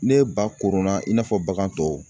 Ne ba koronna i n'a fɔ bagan tɔw